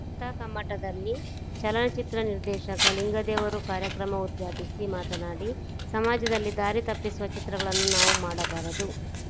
ಕಥಾಕಮ್ಮಟದಲ್ಲಿ ಚಲನಚಿತ್ರ ನಿರ್ದೇಶಕ ಲಿಂಗದೇವರು ಕಾರ್ಯಕ್ರಮ ಉದ್ಘಾಟಿಸಿ ಮಾತನಾಡಿ ಸಮಾಜದಲ್ಲಿ ದಾರಿ ತಪ್ಪಿಸುವ ಚಿತ್ರಗಳನ್ನು ನಾವು ಮಾಡಬಾರದು